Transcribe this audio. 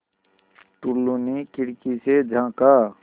टुल्लु ने खिड़की से झाँका